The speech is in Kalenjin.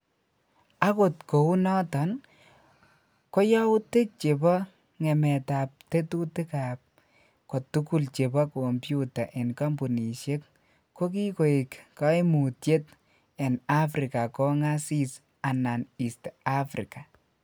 Akot kounoton ,koyoutik chebo ngemetab tetutikab kotugul chebo kompyuta en kompunishek ko kikoek koimutyiet en Africa kongasis anan East Africa